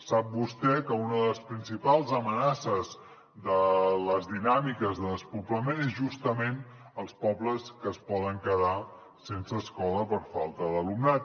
sap vostè que una de les principals amenaces de les dinàmiques de despoblament són justament els pobles que es poden quedar sense escola per falta d’alumnat